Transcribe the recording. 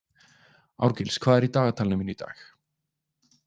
Árgils, hvað er í dagatalinu mínu í dag?